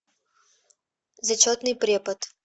зачетный препод